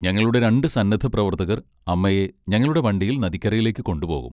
ഞങ്ങളുടെ രണ്ട് സന്നദ്ധപ്രവർത്തകർ അമ്മയെ ഞങ്ങളുടെ വണ്ടിയിൽ നദിക്കരയിലേക്ക് കൊണ്ടുപോകും.